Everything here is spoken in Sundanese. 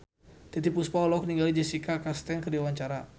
Titiek Puspa olohok ningali Jessica Chastain keur diwawancara